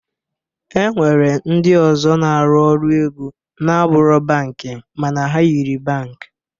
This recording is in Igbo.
E nwere ndị ọzọ na-arụ ọrụ ego na-abụrọ bankị mana ha yiri bankị